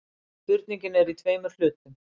Spurningin er í tveimur hlutum.